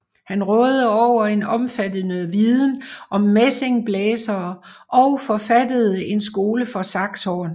Han rådede over en omfattende viden om messingblæsere og forfattede en skole for saxhorn